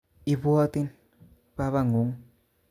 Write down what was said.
Ibwotin babanguk